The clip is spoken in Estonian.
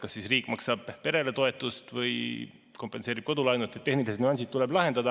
Kas siis riik maksab perele toetust või kompenseerib kodulaenu, need tehnilised nüansid tuleb lahendada.